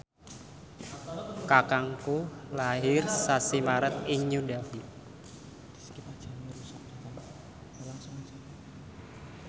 kakangku lair sasi Maret ing New Delhi